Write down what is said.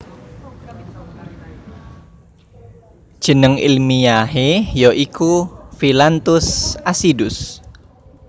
Jeneng ilmiahe ya iku Phyllanthus acidus